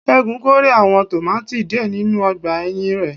Segun kórè àwọn tòmátì díẹ̀ nínú ọgbà ẹ̀yìn rẹ̀